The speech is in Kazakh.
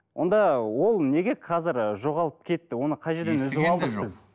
онда ол неге қазір ы жоғалып кетті оны қай жерден үзіп алдық біз